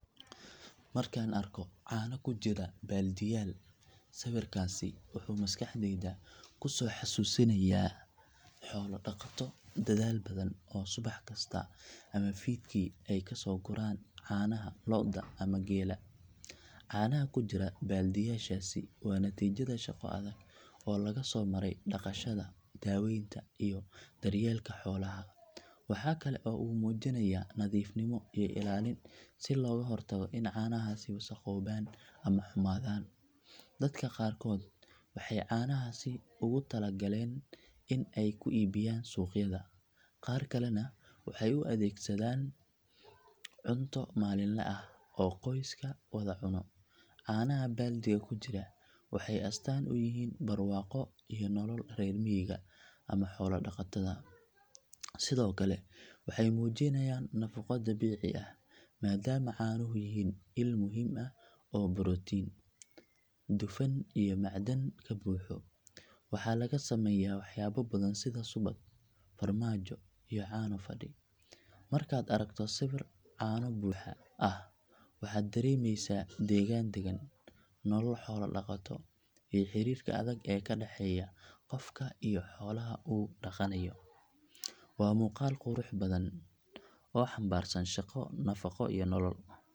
Markaan arko caano ku jira baaldiyaal sawirkaasi wuxuu maskaxdayda ku soo xasuusinayaa xoolo dhaqato dadaal badan oo subax kasta ama fiidkii ay kasoo guraan caanaha lo’da ama geela. Caanaha ku jira baaldiyaashaasi waa natiijada shaqo adag oo laga soo maray dhaqashada, daaweynta iyo daryeelka xoolaha. Waxa kale oo uu muujinayaa nadiifnimo iyo ilaalin si looga hortago in caanahaasi wasakhoobaan ama xumaadaan. Dadka qaarkood waxay caanahaasi ugu tala galeen in ay ku iibiyaan suuqyada, qaar kalena waxay u adeegsanayaan cunto maalinle ah oo qoysku wada cuno. Caanaha baaldiga ku jira waxay astaan u yihiin barwaaqo iyo nolol reer miyiga ama xoolo dhaqatada. Sidoo kale waxay muujinayaan nafaqo dabiici ah maadaama caanuhu yihiin il muhiim ah oo borotiin, dufan iyo macdan ka buuxo. Waxaa laga sameeyaa waxyaabo badan sida subag, farmaajo, iyo caano fadhi. Markaad aragto sawir caano buuxa ah waxaad dareemeysaa degaan dagan, nolol xoolo dhaqato iyo xiriirka adag ee ka dhaxeeya qofka iyo xoolaha uu dhaqanayo. Waa muuqaal qurux badan oo xambaarsan shaqo, nafaqo iyo nolol.